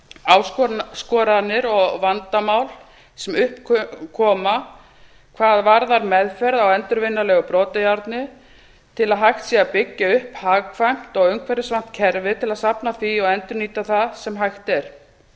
áskoranir og vandamál sem upp koma hvað varðar meðferð á endurvinnanlegu brotajárni til að hægt sé að byggja upp hagkvæmt og umhverfisvænt kerfi til að safna því og endurnýta það sem hægt er